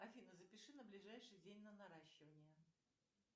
афина запиши на ближайший день на наращивание